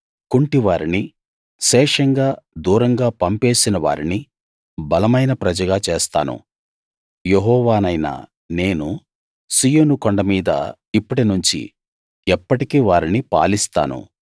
కుంటివారిని శేషంగా దూరంగా పంపేసిన వారిని బలమైన ప్రజగా చేస్తాను యెహోవానైన నేను సీయోను కొండ మీద ఇప్పటినుంచి ఎప్పటికీ వారిని పాలిస్తాను